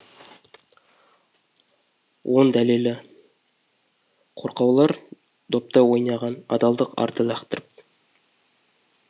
он дәлелі қорқаулар доптай ойнаған адалдық арды лақтырып